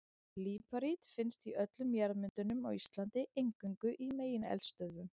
Líparít finnst í öllum jarðmyndunum á Íslandi, eingöngu í megineldstöðvum.